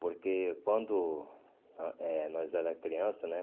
Porque quando nós é nós era criança, né?